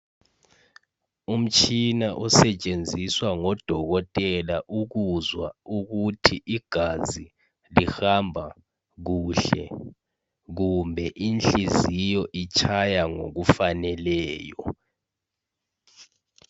Umtshina osetshenziswa ngodokotela ukuzwa ukuthi igazi lihamba kuhle kumbe inhliziyo itshaya ngokufaneleyo.